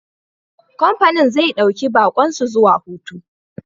Kamfanin zai dauki baƙon su zuwa hutu.